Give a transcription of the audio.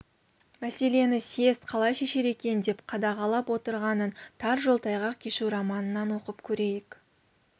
мәселені съезд қалай шешер екен деп қадағалап отырғанын тар жол тайғақ кешу романынан оқып көрейік